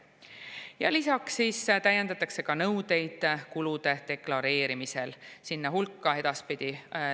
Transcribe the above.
Ja lisaks täiendatakse kulude deklareerimise nõudeid.